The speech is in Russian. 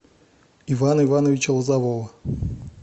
ивана ивановича лозового